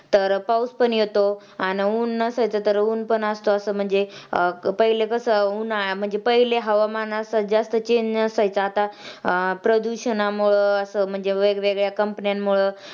तर पाऊस पण येतो आणि ऊन असायचं तर ऊन पण असतं असं म्हणजे पहिले कसं उन्हाळा म्हणजे पहिले हवामान मध्ये जास्त Change नसायचा आता अं प्रदूषणामुळं असं वेगवेगळ्या कंपन्यांमुळं